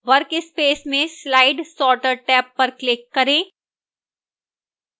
workspace में slide sorter tab पर click करें